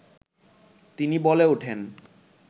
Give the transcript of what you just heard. তিনি বলে ওঠেন